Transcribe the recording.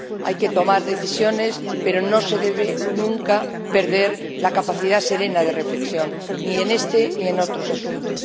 Hay que tomar decisiones, pero no se debe, nunca, perder la capacidad serena de reflexión, ni en este ni en otros asuntos.